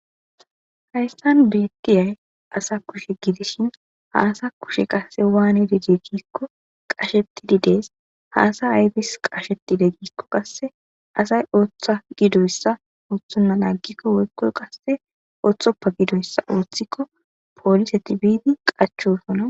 haystan beekiyay asa kushe gidishin haasa kushe qasse waane didi giikko qashettididees haasa aybis qashetide giikko qasse asay ooththa gidoyssa uthunna laaggikko woykkoy qasse ooththoppa gidoyssa wothikko poolise tibidi qachosona